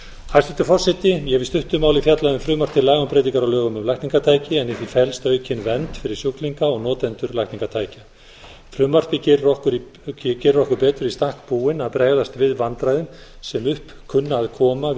hæstvirtur forseti ég hef í stuttu máli fjallað um frumvarp til laga um breytingar á lögum um lækningatæki en í því felst aukin vernd fyrir sjúklinga og notendur lækningatækja frumvarpið gerir okkur betur í stakk búin að bregðast við vandræðum sem upp kunna að koma við